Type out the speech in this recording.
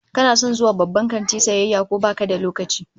Kana son zuwa babban kanti sayayya ko baka da lokaci?